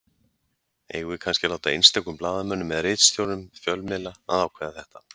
Eigum við kannski að láta einstökum blaðamönnum eða ritstjórnum fjölmiðla að ákveða þetta?